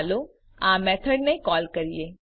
ચાલો આ મેથડને કોલ કરીએ